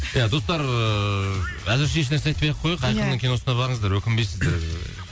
ия достар ыыы әзірше еш нәрсе айтпай ақ қояйық ия айқынның киносына барыңыздар өкінбейсіздер